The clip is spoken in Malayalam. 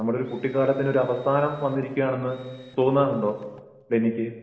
ഒരു കുട്ടിക്കാലത്തിന്റെ അവസാനം വന്നിരിക്കയാണ് എന്ന് തോന്നാറുണ്ടോ ഡെന്നിക്ക്